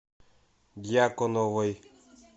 дьяконовой